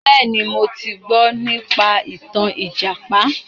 Bẹ́ẹ̀ni, mo ti gbọ nípa ìtàn ìjàpá.